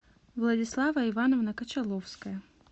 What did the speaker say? владислава ивановна кочаловская